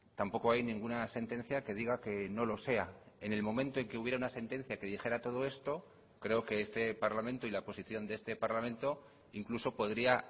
tampoco hay ninguna sentencia que diga que no lo sea en el momento en que hubiera una sentencia que dijera todo esto creo que este parlamento y la posición de este parlamento incluso podría